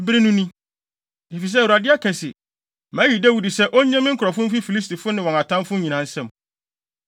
Bere no ni. Efisɛ Awurade aka se, ‘Mayi Dawid sɛ onnye me nkurɔfo mfi Filistifo ne wɔn atamfo nyinaa nsam.’ ”